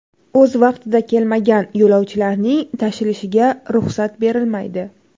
O‘z vaqtida kelmagan yo‘lovchilarning tashilishiga ruxsat berilmaydi.